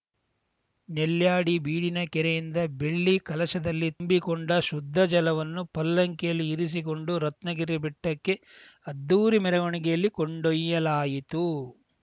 ನೆಲ್ಯಾಡಿ ಬೀಡಿನ ಕೆರೆಯಿಂದ ಬೆಳ್ಳಿ ಕಲಶದಲ್ಲಿ ತುಂಬಿಕೊಂಡ ಶುದ್ಧ ಜಲವನ್ನು ಪಲ್ಲಕಿಯಲ್ಲಿ ಇರಿಸಿಕೊಂಡು ರತ್ನಗಿರಿ ಬೆಟ್ಟಕ್ಕೆ ಅದ್ದೂರಿ ಮೆರವಣಿಗೆಯಲ್ಲಿ ಕೊಂಡೊಯ್ಯಲಾಯಿತು